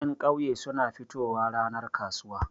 Ƴan ƙauye suna fitowa ranar kasuwa.